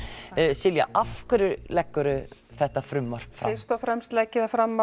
Silja af hverju leggur þú þetta frumvarp fram fyrst og frem legg ég það fram